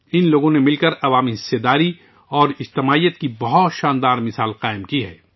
ان لوگوں نے مل کر عوامی شرکت اور اجتماعیت کی ایک بہت عمدہ مثال قائم کی ہے